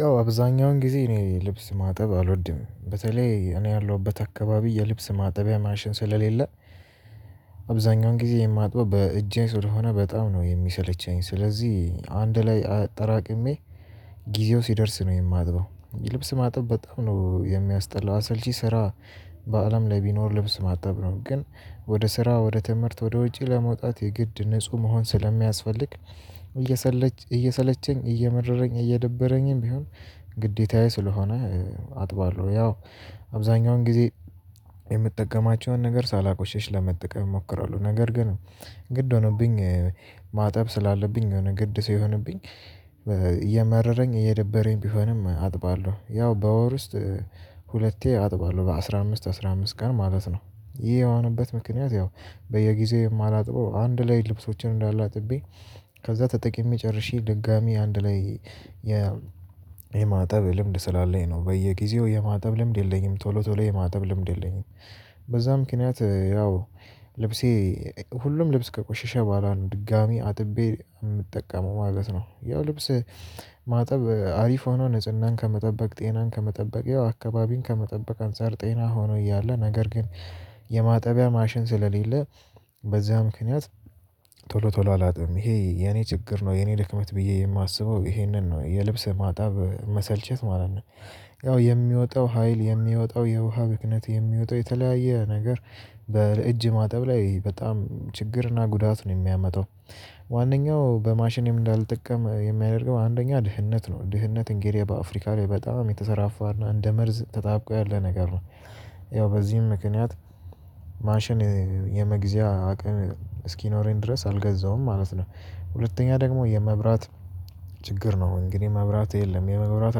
ያው አብዛኛውን ጊዜ እኔ ልብስ ማጠብ አልወድም በተለይ እኔ ያለሁበት አካባቢ የልብስ ማጠቢያ ማሽን ስለሌለ ጊዜ የማጥበው በእጄ ስለሆነ በጣም ነው የሚሰለቸኝ። ስለዚህ አንድ ላይ አጠራቅሜ ጊዜው ሲደርስ ነው የማጥበው ልብስ ማጠብ በጣም ነው የሚያስጠላ አሰልቺ ስራ በአለም ላይ ቢኖር ልብስ ማጠብ ነው። ግን ወደ ስራ ወደ ትምህርት ወደ ወጪ ለመውጣት የግድ ንጹህ መሆን ስለሚያስፈልግ እየሰለቸኝ እየሰለቸኝ እየመረረኝ እየደበረኝም ቢሆን ግዴታዬ ስለሆነ። አጥባለሁ ያው አብዛኛውን ጊዜ የምጠቀማቸውን ነገር ሳላቆሽሽ ለመጠቀም እሞክራለሁ። ነገር ግን ግድ ሆኖብኝ ማጠብ ስላለብኝ የሆነ ግድ ሰው እየመረረኝ እየደበረኝ ቢሆንም አጥባለሁ። ያው በወር ውስጥ ሁለቴ አጥባለሁ በአሥራ አምስት አስራ አምስት ቀን ማለት ነው። ይሄ የሆነበት ምክንያት ያው በየጊዜው የማላጥበው አንድ ላይ ልብሶቼን እንዳለ አጥቤ ከዛ ተጠቅሜ ጨርሼ ድጋሚ አንድ ላይ የማጠብ ልምድ ስላለኝ ነው በየጊዜው የማጠብ ልምድ የለኝም። ቶሎ ቶሎ የማጠብ ልምድ የለኝም። በዛ ምክንያት ያው ሁሉም ልብስ ከቆሸሸ በኋላ ነው ድጋሚ አጥቤ የምጠቀመው ማለት ነው። ያው ልብስ ማጠብ አሪፍ ሆኖ ንጽህናን ከመጠበቅ ጤናን ከመጠበቅ ያው አካባቢን ከመጠበቅ አንፃር ጤና ሆኖ እያለ ነገር ግን የማጠቢያ ማሽን ስለሌለ በዚያ ምክንያት ቶሎ ቶሎ አላጠብም ይሄ የኔ ችግር ነው። የኔ ድክመት ብዬ የማስበው ይሄንን ነው የልብስ ማጠብ መሰልቸት ማለት ነው። ያው የሚወጣው ሀይል የሚወጣው የውሃ ብክነት የሚወጣው የተለያየ ነገር በእጅ ማጠብ ላይ በጣም ችግርና ጉዳት ነው የሚያመጣው። ዋነኛው በማሽኔም እንዳልጠቀም የሚያደርገው አንደኛ ድህነት ነው ድህነት እንግዲህ በአፍሪካ ላይ በጣም የተሰራፋና እንደ መርዝ ተጣብቆ ያለ ነገር ነው። ያው በዚህም ምክንያት ማሽን የመግዣ አቅም እስኪኖረኝ ድረስ አልገዛውም። ማለት ሁለተኛ ደግሞ የመብራት ችግር ነው። እንግዲህ መብራት የለም የመብራት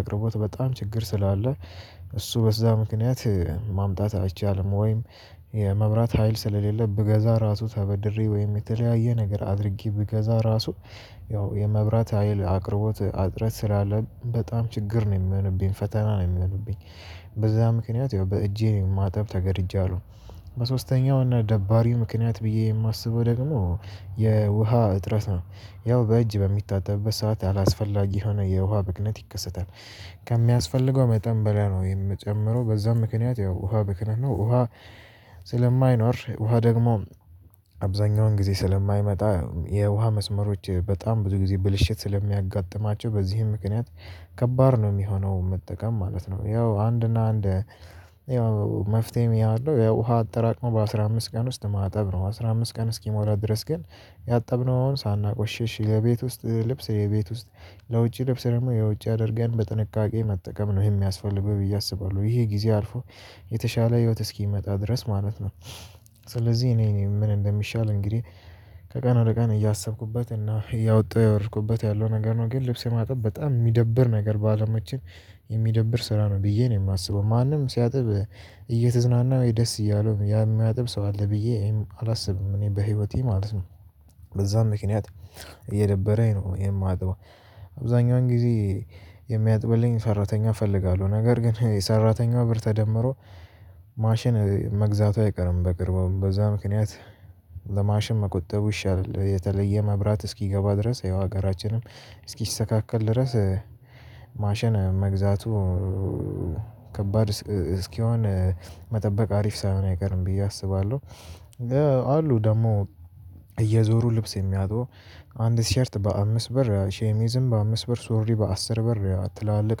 አቅርቦት በጣም ችግር ስላለ እሱ በዛ ምክንያት ማምጣት አይቻልም። ወይም የመብራት ሀይል ስለሌለ ብገዛ ራሱ ተበድሬ ወይም የተለያየ ነገር አድርጌ ብገዛ ራሱ ያው የመብራት ሀይል አቅርቦት አጥረት ስላለ በጣም ችግር ነው የሚሆንብኝ ፈተና ነው የሚሆንብኝ። በዛ ምክንያት ያው በእጄ ነው ማጠብ ተገድጃለሁ። በሶስተኛው እና ደባሪው ምክንያት ብዬ የማስበው ደግሞ የውሃ እጥረት ነው። ያው በእጅ በሚታጠብበት ሰዓት አላስፈላጊ የሆነ የውሃ ብክነት ይከሰታል። ከሚያስፈልገው መጠን በላይ ነው የምጨምረው በዛም ምክንያት ያው ውሃ ብክነት ነው ውሃ ስለማይኖር ውሃ ደግሞ አብዛኛውን ጊዜ ስለማይመጣ የውሃ መስመሮች በጣም ብዙ ጊዜ ብልሽት ስለሚያጋጥማቸው በዚህም ምክንያት ከባድ ነው የሚሆነው መጠቀም ማለት ነው። ያው አንድ እና አንድ ያው መፍትሄም ያው ያው ውሃ አጠራቅሞ በአሥራ አምስት ቀን ውስጥ ማጠብ ነው አስራ አምስት ቀን እስኪሞላ ድረስ ግን ያጠብነውን ሳናቆሽሽ ለቤት ውስጥ ልብስ የቤት ውስጥ ለውጪ ልብስ ደግሞ የውጪ አድርገን በጥንቃቄ መጠቀም ነው የሚያስፈልገው ብዬ አስባለሁ። ይሄ ጊዜ አልፎ የተሻለ ህይወት እስኪመጣ ድረስ ማለት ነው። ስለዚህ እኔ እኔ ምን እንደሚሻል እንግዲህ ከቀን ወደ ቀን እያሰብኩበት እና እያወጣሁ ያወርኩበት ያለው ነገር ነው ግን ልብስ የማጠብ በጣም የሚደብር ነገር ባለሙያዎችን የሚደብር ስራ ነው ብዬ ነው የማስበው። ማንም ሲያጥብ እየተዝናና ወይ ደስ እያለው የሚያጥብ ሰው አለ ብዬ አላስብም። እኔ በህይወቴ ማለት ነው። በዛም ምክንያት እየደበረኝ ነው ይሄን ማጥበው። አብዛኛውን ጊዜ የሚያጥብልኝ ሰራተኛ እፈልጋለሁ ነገር ግን የሰራተኛው ብር ተደምሮ ማሽን መግዛቱ አይቀርም በቅርቡ በዛ ምክንያት ለማሽን መቆጠቡ ይሻላል። የተለየ መብራት እስኪገባ ድረስ ይሄው ሀገራችንም እስኪሰተካከል ድረስ ማሸን መግዛቱ ከባድ እስኪሆን መጠበቅ አሪፍ ሳይሆን አይቀርም ብዬ አስባለሁ። አሉ ደግሞ እየዞሩ ልብስ የሚያጥቡ አንድ ቲሸርት በአምስት ብር ሸሚዝም በአምስት በር ሶሪ በአስር በር ትላልቅ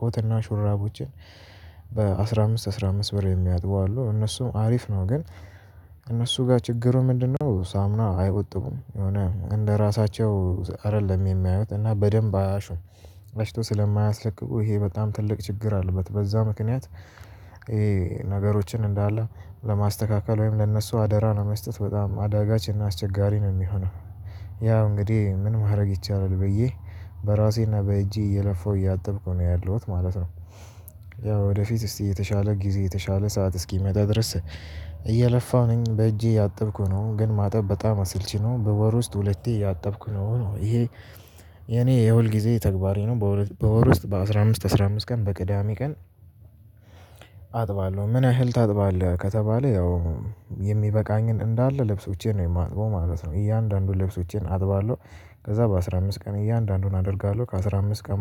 ኮትና ሹራቦችን በአስራ አምስት አስራ አምስት ብር የሚያጥበው አሉ እነሱም አሪፍ ነው። ግን እነሱ ጋር ችግሩ ምንድነው? ሳሙና አይቆጥቡም የሆነ እንደራሳቸው አይደለም የሚያዩት እና በደንብ አያሹም። ለሽቶ ስለማያስለቅቁ ይሄ በጣም ትልቅ ችግር አለበት። በዛ ምክንያት ይሄ ነገሮችን እንዳለ ለማስተካከል ወይም ለእነሱ አደራ ነው መስጠት በጣም አዳጋች እና አስቸጋሪ ነው የሚሆነው። ያው እንግዲህ ምን ማድረግ ይቻላል? ብዬ በእጄ እየለፋሁ እያጠብኩ ነው ያለሁት ማለት ነው። ያው ወደፊት እስቲ የተሻለ ጊዜ የተሻለ ሰዓት እስኪመጣ ድረስ እየለፋሁ ነኝ። በእጄ እያጠብኩ ነው ግን ማጠብ በጣም አሰልቺ ነው። በወር ውስጥ ሁለቴ እያጠብኩ ነው ነው ይሄ የኔ የሁል ጊዜ ተግባሬ ነው። በወር ውስጥ በአሥራ አምስት አስራ አምስት ቀን በቅዳሜ ቀን ምን ያህል ታጥባለህ? ከተባለ ያው የሚበቃኝን እንዳለ ልብሶቼን ነው የማጥበው ማለት ነው እያንዳንዱን ልብሶቼን አጥባለሁ። ከዛ በአሥራ አምስት ቀን እያንዳንዱን አደርጋለሁ ከአሥራ አምስት ቀን